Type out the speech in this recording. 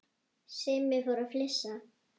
Simmi fór að flissa.